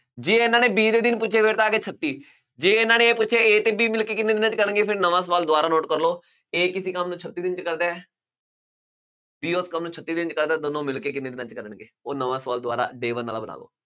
ਜੇ ਇਹਨਾਂ ਨੇ b ਦੇ ਦਿਨ ਪੁੱਛੇ ਫਿਰ ਤਾਂ ਆ ਗਏ ਛੱਤੀ, ਜੇ ਇਹਨਾਂ ਨੇ ਇਹ ਪੁੱਛਿਆ a ਤੇ b ਮਿਲ ਕੇ ਕਿੰਨੇ ਦਿਨਾਂ 'ਚ ਕਰਨਗੇ ਫਿਰ ਨਵਾਂ ਸਵਾਲ ਦੁਬਾਰਾ note ਕਰ ਲਓ a ਕਿਸੇ ਕੰਮ ਨੂੰ ਛੱਤੀ ਦਿਨ 'ਚ ਕਰਦਾ ਹੈ b ਉਸ ਕੰਮ ਨੂੰ ਛੱਤੀ ਦਿਨ 'ਚ ਕਰਦਾ ਹੈ ਦੋਨੋਂ ਮਿਲਕੇ ਕਿੰਨੇ ਦਿਨਾਂ 'ਚ ਕਰਨਗੇ ਉਹ ਨਵਾਂ ਸਵਾਲ ਦੁਬਾਰਾ day one ਵਾਲਾ ਬਣਾ ਲਓ।